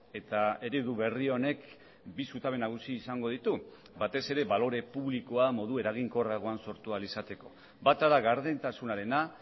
eta eredu berri honek bi zutabe nagusi izango ditu batez ere balore publikoa modu eraginkorragoan sortu ahal izateko bata da gardentasunarena